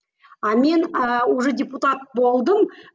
а мен ы уже депутат болдым